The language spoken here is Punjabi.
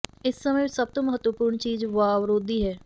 ਇਸ ਸਮੇਂ ਵਿੱਚ ਸਭ ਤੋਂ ਮਹੱਤਵਪੂਰਨ ਚੀਜ਼ ਵਾਵਰੋਧੀ ਹੈ